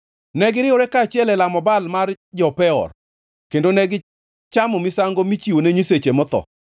Ne giriwore kaachiel e lamo Baal mar jo-Peor, kendo negichamo misango michiwone nyiseche motho;